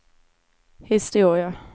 historia